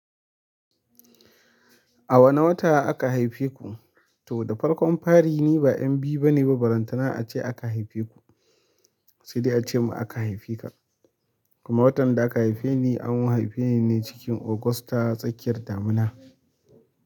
A wane wata aka haife ku? To da farkon fari ni ba 'yan biyu bane ba, ballantana ace aka haife ku. Sai dai ace mun aka haife ka. Kuma watan da aka haife ni an haife ni ne cikin ogusta tsakiyar damina.